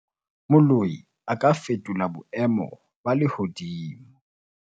moloi a ka fetola boemo ba lehodimo